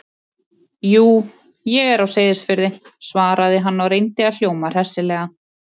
Jú, ég er á Seyðisfirði- svaraði hann og reyndi að hljóma hressilega.